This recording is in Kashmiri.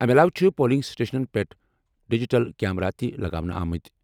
اَمہِ علاوٕ چھِ پولنگ سٹیشنَن پٮ۪ٹھ ڈیجیٹل کیمرا تہِ لگاونہٕ آمٕتۍ ۔